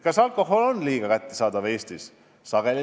Kas alkohol on Eestis liiga kättesaadav?